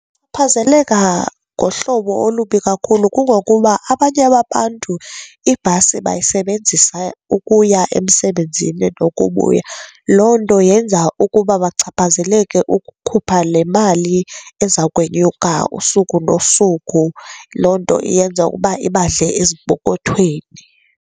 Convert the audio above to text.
Kuphazeleka ngohlobo olubi kakhulu kungokuba abanye babantu ibhasi bayisebenzisa ukuya emsebenzini nokubuya. Loo nto yenza ukuba bachaphazeleke ukukhupha le mali eza kwenyuka usuku nosuku. Loo nto iyenza ukuba ibadle ezimpokothweni.